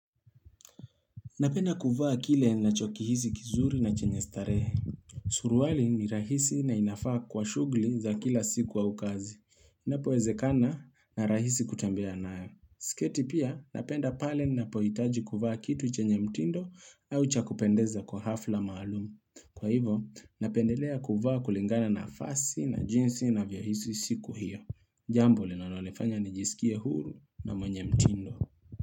Napenda kuvaa kile ninachokihisi kizuri na chenye starehe Suruali ni rahisi na inafaa kwa shughuli za kila siku au kazi Napo wezekana na rahisi kutembea nayo sketi pia napenda pale napohitaji kuvaa kitu chenye mtindo au chakupendeza kwa hafla maalumu Kwa hivo napendelea kuvaa kulingana na vazi na jinsi navyohisi siku hiyo Jambo linalonifanya nijiskie huru na mwenye mtindo.